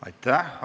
Aitäh!